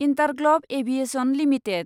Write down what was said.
InterGlobe Aviation limited